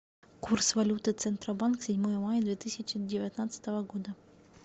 курс валюты центробанк седьмое мая две тысячи девятнадцатого года